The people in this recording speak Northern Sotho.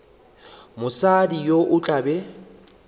mosadi yo o tla be